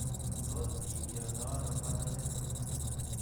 Tos kindiotono Bartter syndrome?